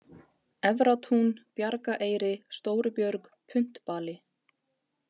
Efratún, Bjargaeyri, Stórubjörg, Puntbali